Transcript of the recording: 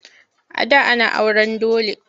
A da ana auren dole.